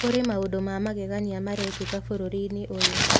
"...Kũrĩ maũndũ ma magegania marekĩka bũrũri-inĩ ũyũ.